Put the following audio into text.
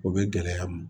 O bɛ gɛlɛya m